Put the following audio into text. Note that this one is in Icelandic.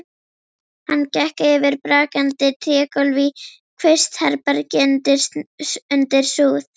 Hann gekk yfir brakandi trégólf í kvistherbergi undir súð.